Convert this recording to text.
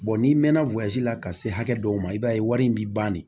n'i mɛnna la ka se hakɛ dɔw ma i b'a ye wari in b'i ban de